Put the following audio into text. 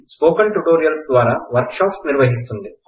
spoken tutorials ద్వారా workshops నిర్వహిస్తుంది